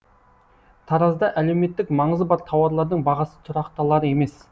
таразда әлеуметтік маңызы бар тауарлардың бағасы тұрақталар емес